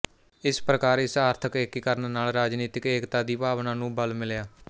ਇਸ ਪ੍ਰਕਾਰ ਇਸ ਆਰਥਕ ਏਕੀਕਰਨ ਨਾਲ ਰਾਜਨੀਤਕ ਏਕਤਾ ਦੀ ਭਾਵਨਾ ਨੂੰ ਬਲ ਮਿਲਿਆ